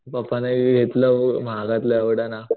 पप्पानी घेतलं महागातलं एवढं ना